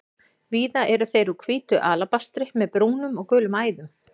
Víða eru þeir úr hvítu alabastri með brúnum og gulum æðum.